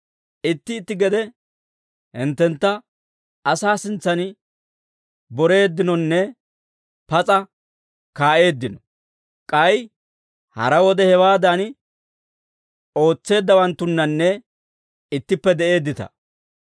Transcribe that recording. Itti itti gede hinttentta asaa sintsan boreeddinonne pas'a kaa'eeddino; k'ay hara wode hewaadan ootseeddawanttunnanne ittippe de'eeddita.